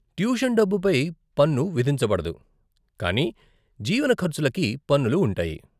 Tuition డబ్బుపై పన్ను విధించబడదు, కానీ జీవన ఖర్చులకి పన్నులు ఉంటాయి.